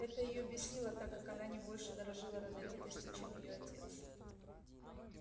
это её бесило так как она не больше дорожила родовитостью чем её отец